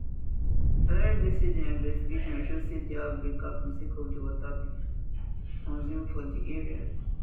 balarabe say dia investigation show say di outbreak happun sake of di water pipo consume for di areas